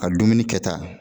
A dumuni kɛta